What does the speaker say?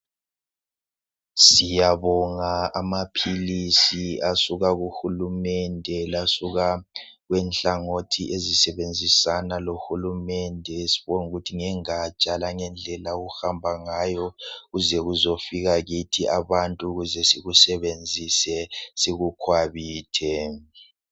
Siyabonga amaphilisi asuka kuhulumende lasuka kwenhlangothi ezisebenzisana lo hulumende sibonge ukuthi ngengatsha langendlela okuhamba ngayo kuze kuzo fika kithi abantu ukuze ukuthi sikusebenzise sikukhwabithe